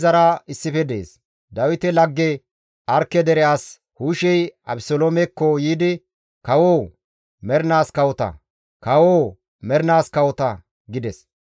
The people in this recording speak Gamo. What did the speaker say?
Dawite lagge Arkke dere as Hushey Abeseloomekko yiidi, «Kawoo! Mernaas kawota! Kawoo! Mernaas kawota!» gides.